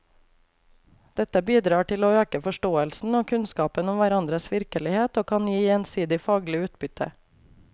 Dette bidrar til å øke forståelsen og kunnskapen om hverandres virkelighet og kan gi gjensidig faglig utbytte.